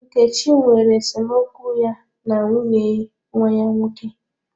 Nkechi nwere esemokwu ya na nwunye nwa ya nwoke.